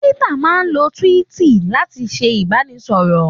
Twitter máa ń lo tíwíìtì láti fi ṣe ìbánisọ̀rọ̀.